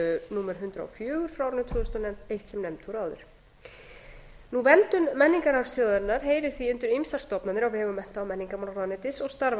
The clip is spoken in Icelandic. númer hundrað og fjögur tvö hundruð og nefnd voru áður verndun menningararfs þjóðarinnar heyrir því undir ýmsar stofnanir á vegum mennta og menningarmálaráðuneytis og starfa þar